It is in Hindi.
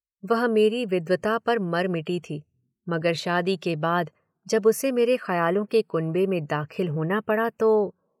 वह मेरी विद्वता पर मर मिटी थी, मगर शादी के बाद जब उसे मेरे खयालों के कुनबे में दाखिल होना पड़ा तो